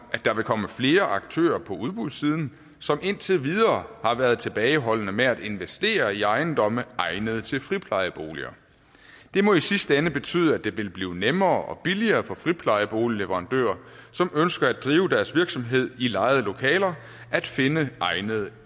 der vil komme flere aktører på udbudssiden som indtil videre har været tilbageholdende med at investere i ejendomme egnet til friplejeboliger det må i sidste ende betyde at det vil blive nemmere og billigere for friplejeboligleverandører som ønsker at drive deres virksomhed i lejede lokaler at finde egnede